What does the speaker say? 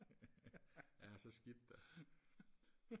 ja så skidt da